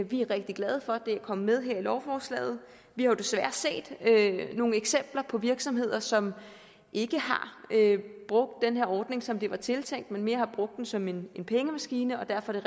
vi er rigtig glade for at det er kommet med her i lovforslaget vi har jo desværre set nogle eksempler på virksomheder som ikke har brugt den her ordning som det var tiltænkt men mere har brugt den som en pengemaskine og derfor er